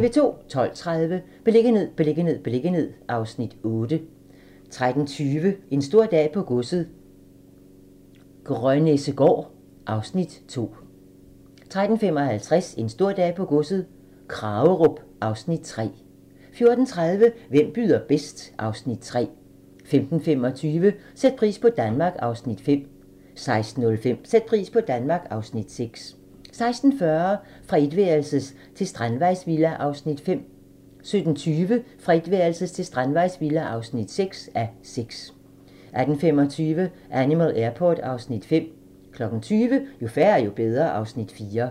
12:30: Beliggenhed, beliggenhed, beliggenhed (Afs. 8) 13:20: En stor dag på godset - Grønnessegaard (Afs. 2) 13:55: En stor dag på godset - Kragerup (Afs. 3) 14:30: Hvem byder bedst? (Afs. 3) 15:25: Sæt pris på Danmark (Afs. 5) 16:05: Sæt pris på Danmark (Afs. 6) 16:40: Fra etværelses til strandvejsvilla (5:6) 17:20: Fra etværelses til strandvejsvilla (6:6) 18:25: Animal Airport (Afs. 5) 20:00: Jo færre, jo bedre (Afs. 4)